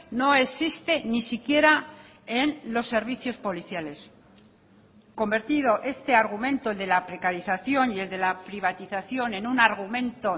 no existe ni siquiera en los servicios policiales convertido este argumento el de la precarización y el de la privatización en un argumento